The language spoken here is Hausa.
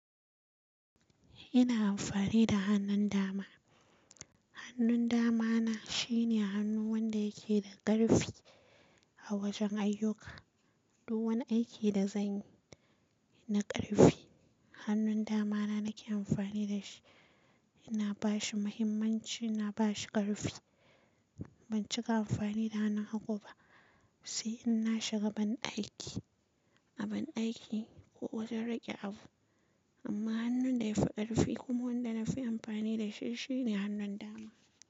Ina amfani da hannun dama. Hannun dama na shine hannu wanda yake da ƙarfi a wajen ayyuka. Duk wani aiki da zanyi na ƙarfi, hannun dama na nake amfani da shi. Ina bashi muhimmanci, ina bashi ƙarfi. Ban cika amfani da hannun hagu ba, sai in na shiga bandaki, a bandaki ko wajen rage abu. Amma hannun da yafi ƙarfi kuma wanda nafi amfani da shi shine hannun dama.